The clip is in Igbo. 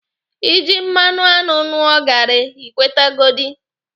Ị jị mmanụ aṅụ ṅụọ gaarị, Ị kwetegodi.